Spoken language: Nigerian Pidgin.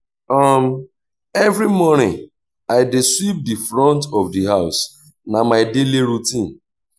um every morning i dey sweep di front of di house na my daily routine